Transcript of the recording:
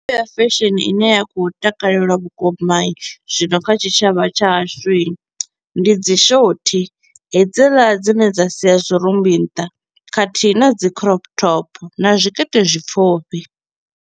Ya fesheni i ne ya kho u takalelwa vhukuma i zwino kha tshitshavha tsha hashu i, ndi dzi shothi hedziḽa dzi ne dza sia zwirumbi nnḓa khathihi na dzi crop top na zwikete zwipfufhi.